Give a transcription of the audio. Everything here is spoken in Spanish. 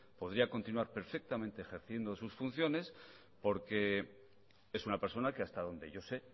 podría continuar perfectamente ejerciendo sus funciones porque es una persona que hasta donde yo sé